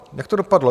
Jak to dopadlo?